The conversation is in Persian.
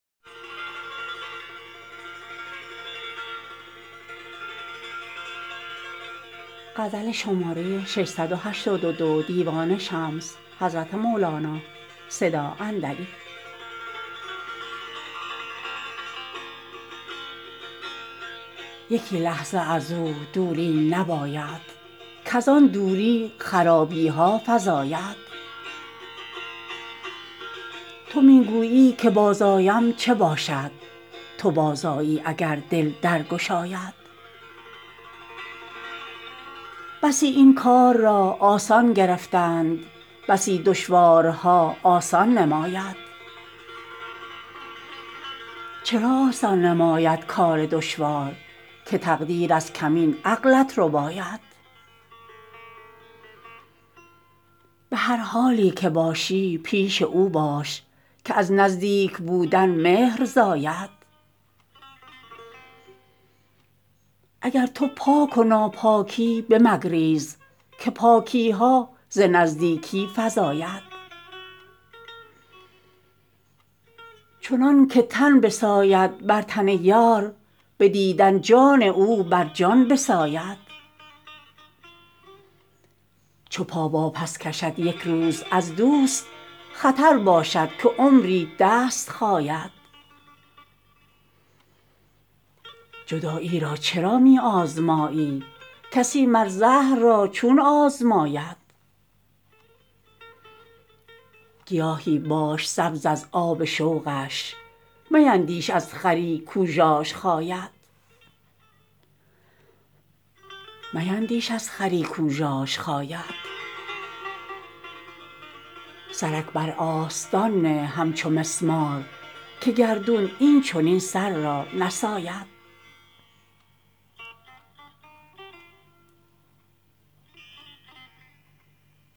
یکی لحظه از او دوری نباید کز آن دوری خرابی ها فزاید تو می گویی که بازآیم چه باشد تو بازآیی اگر دل در گشاید بسی این کار را آسان گرفتند بسی دشوارها آسان نماید چرا آسان نماید کار دشوار که تقدیر از کمین عقلت رباید به هر حالی که باشی پیش او باش که از نزدیک بودن مهر زاید اگر تو پاک و ناپاکی بمگریز که پاکی ها ز نزدیکی فزاید چنانک تن بساید بر تن یار به دیدن جان او بر جان بساید چو پا واپس کشد یک روز از دوست خطر باشد که عمری دست خاید جدایی را چرا می آزمایی کسی مر زهر را چون آزماید گیاهی باش سبز از آب شوقش میندیش از خری کو ژاژ خاید سرک بر آستان نه همچو مسمار که گردون این چنین سر را نساید